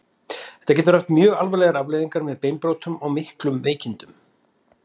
Þetta getur haft mjög alvarlegar afleiðingar með beinbrotum og miklum veikindum.